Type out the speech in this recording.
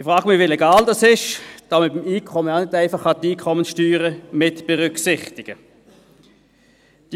Ich frage mich, wie legal dies ist, da man beim Einkommen die Einkommenssteuer auch nicht einfach mitberücksichtigen kann.